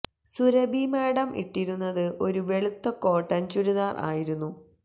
Surabhi madam ഇട്ടിരുന്നത് ഒരു വെളുത്ത കോട്ടൻ ചുരിദാർ ആയിരുന്നു